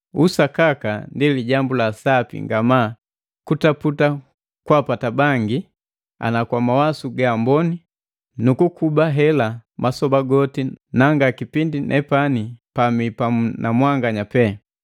Sakaka ndi lijambu la sapi ngamaa kutaputa kwaapata bangi ana kwa mawasu gaamboni, nukukuba hela masoba goti na nga kipindi nepani pamii pamu na mwanganya pee.